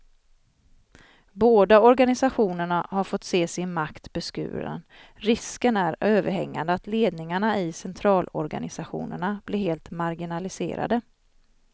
Båda organisationerna har fått se sin makt beskuren, risken är överhängande att ledningarna i centralorganisationerna blir helt marginaliserade.